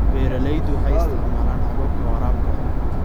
Beeraleydu waxay isticmaalaan hababka waraabka.